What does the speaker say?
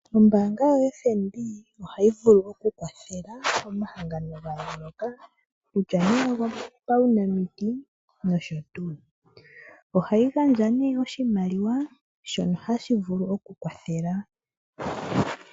Ombaanga yoFNB ohayi vulu okukwathela omahangano ga yooloka kutya nduno ogopaunamiti nosho tuu. Ohayi gandja nduno oshimaliwa shono hashi vulu okukwathela.